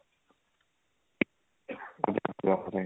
ਆਪਣੇ